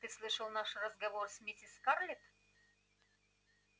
ты слышал наш разговор с миссис скарлетт